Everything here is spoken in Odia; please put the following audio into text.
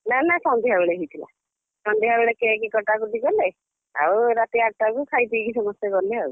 ନା ନା ସନ୍ଧ୍ୟାବେଳେ ହେଇଥିଲା। ସନ୍ଧ୍ୟାବେଳେ cake କଟାକଟି କଲେ ଆଉ ରାତି ଆଠଟାକୁ ଖାଇପିଇକି ସମସ୍ତେ ଗଲେ ଆଉ,